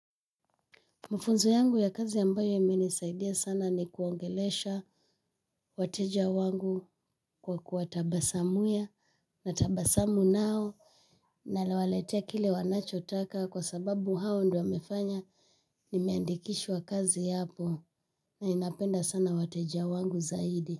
Mafunzo yangu ya kazi ambayo yamenisaidia sana ni kuongelesha wateja wangu kwa kuwatabasamia natabasamu nao, nawaletea kile wanachotaka kwa sababu hao ndio waliofanya niandikishwe kazi hapo na ninapenda sana wateja wangu zaidi.